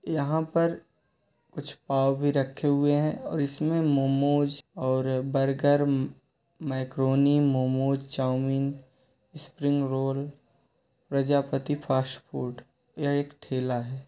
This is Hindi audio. यहाँ पर कुछ पाव भी रखे हुए हैं इसमें मोमोज और burger macaroni momos chow mein spring roll Prajapati fast food यह एक ठेला है।